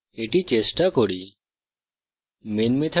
চলুন এটি চেষ্টা করি